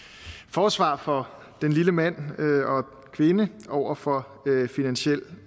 forsvar for den lille mand og kvinde over for finansiel